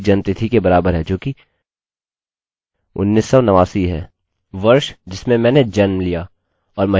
इस कमांड को रन करके हम वास्तव में क्या कर रहे हैं कि हम इस टेबलतालिकामें सबकी जन्मतिथि अपडेट कर रहे हैं